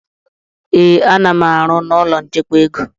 Ee, a-nam arụ na ụlọ nchekwa ego